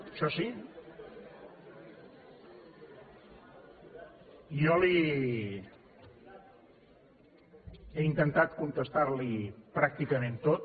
jo he intentat contestar li pràcticament tot